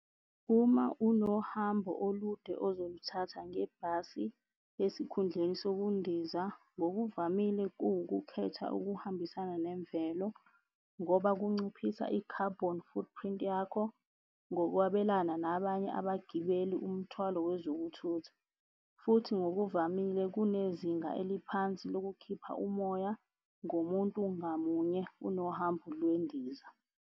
Uma unohambo olude, ozoluthatha ngebhasi esikhundleni sokundiza, ngokuvamile kuwukukhetha okuhambisana nemvelo ngoba kunciphisa i-carbon footprint yakho ngokwabelana nabanye abagibeli umthwalo wezokuthutha. Futhi ngokuvamile kunezinga eliphansi lokukhipha umoya ngomuntu ngamunye kunohambo lwendiza.